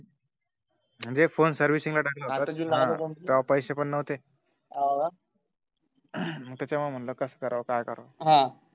म्हणजे फोन सर्विसिंगला टाकला होता तेव्हा पॆसे पण नव्हते मग त्याच्यामुळे कस करावं काय करावं हम्म